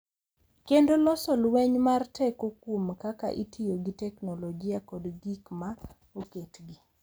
Kendo loso lweny mar teko kuom kaka itiyo gi teknolojia kod gik ma oketgi.